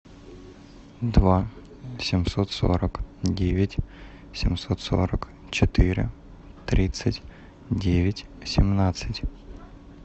два семьсот сорок девять семьсот сорок четыре тридцать девять семнадцать